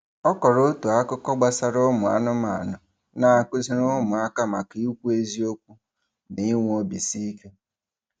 Ọ kọrọ otu akụkọ gbasara ụmụanụmanụ na-akụziri ụmụaka maka ịkwụ eziokwu na inwe obiisiike.